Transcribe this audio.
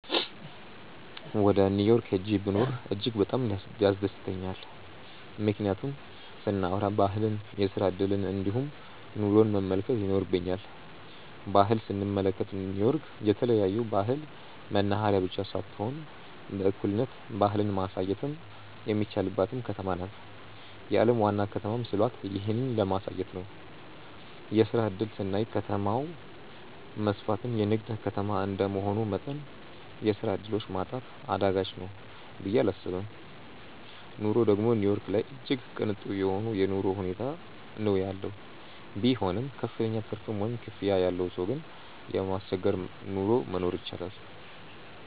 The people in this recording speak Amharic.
ወደ ኒው ዮርክ ሂጄ ብኖር እጅግ በጣም ያስደስተኛል። ምክንያቱን ስናዎራ ባህልን፣ የስራ እድልን እንዲሁም ኑሮን መመልከት ይኖርብኛል። ባህል ስንመለከት ኒው ዮርክ የተለያዮ ባህል መናህሬያ ብቻ ሳትሆን በእኩልነት ባህልን ማሳየትም የሚቻልባትም ከተማ ናት። የአለም ዋና ከተማም ሲሏት ይህንን ለማሳየት ነው። የስራ እድል ስናይ ከተማው መስፍትና የንግድ ከተማ እንደመሆኑ መጠን የስራ ዕድሎች ማጣት አዳጋች ነው ብየ እላስብም። ኑሮ ደግም ኒው ዮርክ ላይ እጅግ ቅንጡ የሆነ የኑሮ ሁኔታ ነው ያለው። ቢሆንም ክፍተኛ ትርፍ ወይም ክፍያ ያለው ሰው ግን የማያስቸግር ኑሮ መኖር ይችላል።